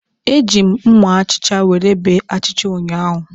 Eji m mma achicha were bee achịcha ụnyahụ.